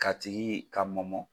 K'a tigi ka mɔmɔ.